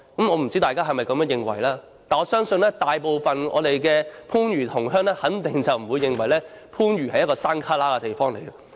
我不知道大家是否也這樣認為，但是，我相信大部分的番禺同鄉肯定不會認為番禺是偏僻地方。